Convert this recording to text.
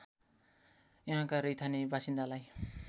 यहाँका रैथाने बासिन्दालाई